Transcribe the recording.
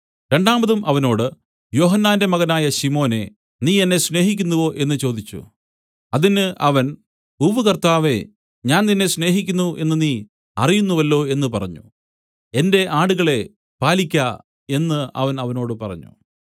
രണ്ടാമതും അവനോട് യോഹന്നാന്റെ മകനായ ശിമോനേ നീ എന്നെ സ്നേഹിക്കുന്നുവോ എന്നു ചോദിച്ചു അതിന് അവൻ ഉവ്വ് കർത്താവേ ഞാൻ നിന്നെ സ്നേഹിക്കുന്നു എന്നു നീ അറിയുന്നുവല്ലോ എന്നു പറഞ്ഞു എന്റെ ആടുകളെ പാലിയ്ക്ക എന്നു അവൻ അവനോട് പറഞ്ഞു